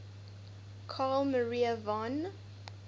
carl maria von